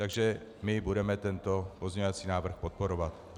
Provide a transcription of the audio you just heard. Takže my budeme tento pozměňovací návrh podporovat.